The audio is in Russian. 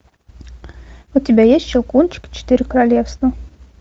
у тебя есть щелкунчик четыре королевства